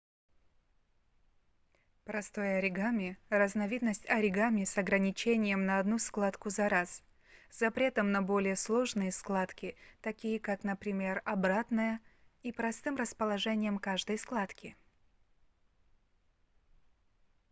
простое оригами разновидность оригами с ограничением на одну складку за раз запретом на более сложные складки такие как например обратная и простым расположением каждой складки